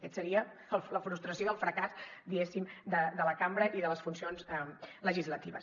aquesta seria la frustració i el fracàs diguéssim de la cambra i de les funcions legislatives